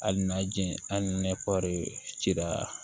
Hali n'a jɛn hali ni ne kɔɔri cira